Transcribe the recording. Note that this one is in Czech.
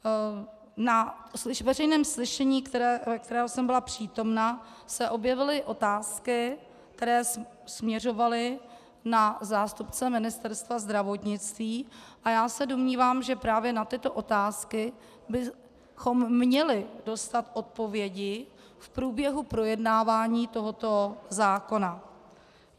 Na veřejném slyšení, kterému jsem byla přítomna, se objevily otázky, které směřovaly na zástupce Ministerstva zdravotnictví, a já se domnívám, že právě na tyto otázky bychom měli dostat odpovědi v průběhu projednávání tohoto zákona.